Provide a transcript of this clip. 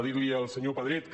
dir li al senyor pedret que